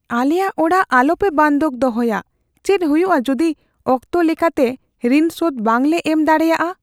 ᱟᱞᱮᱭᱟᱜ ᱚᱲᱟᱜ ᱟᱞᱚᱯᱮ ᱵᱟᱱᱫᱷᱚᱠ ᱫᱚᱦᱚᱭᱟ ᱾ ᱪᱮᱫ ᱦᱩᱭᱩᱜᱼᱟ ᱡᱩᱫᱤ ᱚᱠᱛᱚ ᱞᱮᱠᱟᱛᱮ ᱨᱤᱱ ᱥᱳᱫᱷ ᱵᱟᱝᱞᱮ ᱮᱢ ᱫᱟᱲᱮᱭᱟᱜᱼᱟ ?